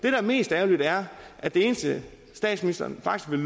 er mest ærgerligt er at det eneste statsministeren faktisk vil